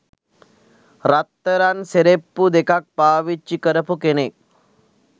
රත්තරන් සෙරෙප්පු දෙකක් පාවිච්චි කරපු කෙනෙක්.